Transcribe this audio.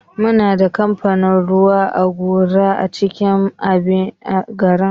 Muna da kamfanin ruwan gora a cikin birnin abuja.